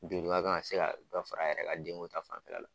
kan ka se ka dɔ fara a yɛrɛ ka denko ta fanfɛla la